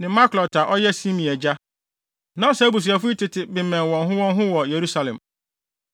ne Miklot a ɔyɛ Simea agya. Na saa abusuafo yi tete bemmɛn wɔn ho wɔn ho wɔ Yerusalem.